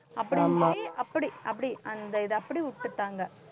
அப்படி அப்படி அப்படி அந்த இதை அப்படி விட்டுட்டாங்க